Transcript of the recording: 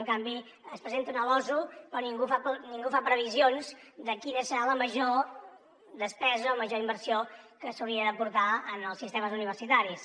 en canvi es presenta una losu però ningú fa previsions de quina serà la major despesa o major inversió que s’hauria d’aportar en els sistemes universitaris